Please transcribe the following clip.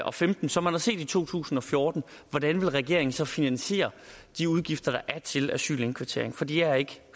og femten som man har set i to tusind og fjorten hvordan vil regeringen så finansiere de udgifter der er til asylindkvartering for de er ikke